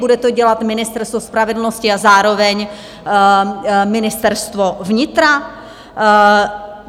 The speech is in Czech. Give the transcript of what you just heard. Bude to dělat Ministerstvo spravedlnosti a zároveň Ministerstvo vnitra?